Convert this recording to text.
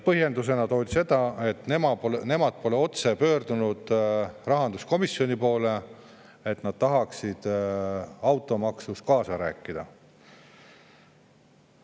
Põhjenduseks toodi, et nemad pole rahanduskomisjoni poole otse pöördunud ja öelnud, et nad tahaksid automaksu teemal kaasa rääkida.